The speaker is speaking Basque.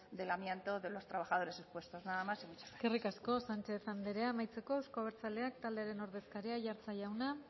del amianto de los trabajadores expuestos nada más y muchas gracias eskerrik asko sánchez andrea amaitzeko euzko abertzaleak taldearen ordezkaria aiartza jauna